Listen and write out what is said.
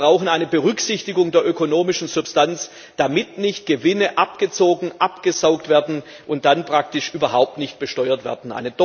Wir brauchen eine Berücksichtigung der ökonomischen Substanz, damit nicht Gewinne abgezogen, abgesaugt, und dann praktisch überhaupt nicht besteuert werden.